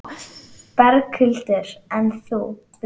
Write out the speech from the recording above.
Berghildur: En þú?